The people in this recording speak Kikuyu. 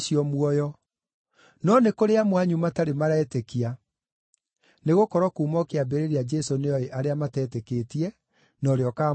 No nĩ kũrĩ amwe anyu matarĩ maretĩkia.” Nĩgũkorwo kuuma o kĩambĩrĩria Jesũ nĩooĩ arĩa matetĩkĩtie, na ũrĩa ũkaamũkunyanĩra.